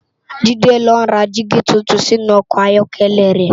Jide n lò rá digi tútún sinú òkò áyòkèlè rè